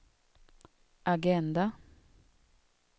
agenda